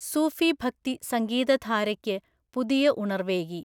സുഫി ഭക്തി സംഗീതധാരയ്ക്ക് പുതിയ ഉണർവ്വേകി.